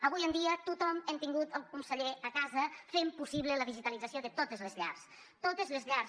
avui en dia tothom hem tingut el conseller a casa fent possible la digitalització de totes les llars totes les llars